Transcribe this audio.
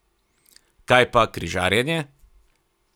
Kaj pa križanje?